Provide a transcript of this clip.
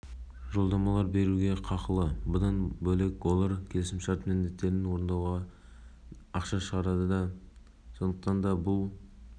вице-премьердің айтуынша жеке кәсіпкерлік субъектісі болып отырған қолданушылар балық көлемі үшін қаржы төлей отырып белгілі бір